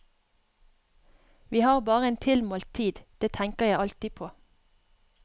Vi har bare en tilmålt tid, det tenker jeg alltid på.